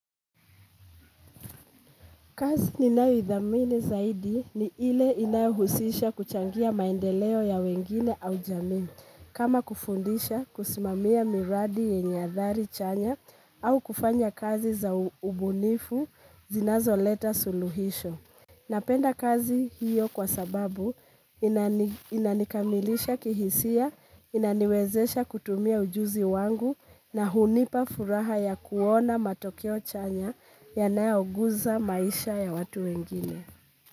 Kazi ninayothamini zaidi ni ile inayohusisha kuchangia maendeleo ya wengine au jamii kama kufundisha kusimamia miradi yenye hadhari chanya au kufanya kazi za ubunifu zinazo leta suluhisho. Napenda kazi hiyo kwa sababu inanikamilisha kihisia, inaniwezesha kutumia ujuzi wangu na hunipa furaha ya kuona matokeo chanya yanaogusa maisha ya watu wengine.